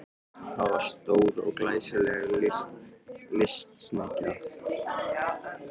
Það var stór og glæsileg lystisnekkja.